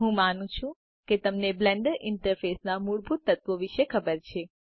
હું માનું છુ તમને બ્લેન્ડર ઇન્ટરફેસના મૂળભૂત તત્વો વિષે ખબર છે